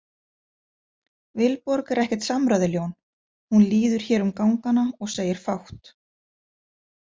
Vilborg er ekkert samræðuljón, hún líður hér um gangana og segir fátt.